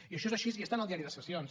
i això és així i està en el diari de sessions